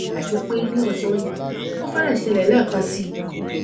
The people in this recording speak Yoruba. àti pé ní ọsán yìí ó fẹrẹẹ ṣẹlẹ lẹẹkan síi